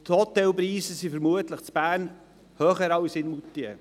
Vermutlich sind die Hotelpreise in Bern höher als in Moutier.